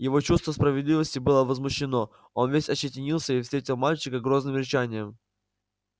его чувство справедливости было возмущено он весь ощетинился и встретил мальчика грозным рычанием